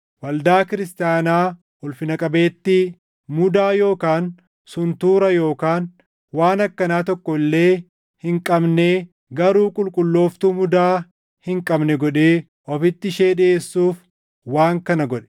waldaa kiristaanaa ulfina qabeettii, mudaa yookaan suntuura yookaan waan akkanaa tokko illee hin qabnee garuu qulqullooftuu mudaa hin qabne godhee ofitti ishee dhiʼeessuuf waan kana godhe.